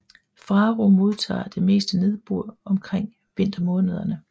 Faro modtager det meste nedbør omkring vintermånederne